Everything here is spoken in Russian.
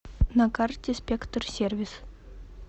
на карте спектр сервис